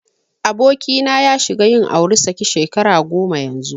Abokina ya shiga yin auri saki shekara goma yanzu.